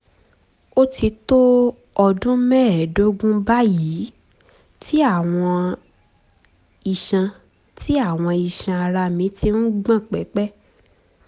ó ti tó ọdún mẹ́ẹ̀ẹ́dógún báyìí tí àwọn iṣan tí àwọn iṣan ara mi ti ń gbọ̀n pẹ̀pẹ̀